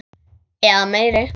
Eða meiri.